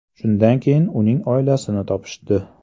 Shundan keyin uning oilasini topishdi.